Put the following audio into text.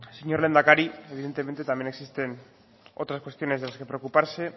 señor lehendakari evidentemente también existen otras cuestiones de los que preocuparse